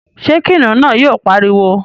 ṣé kìnìún náà yóò pariwo?